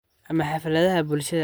ama xafladaha bulshada.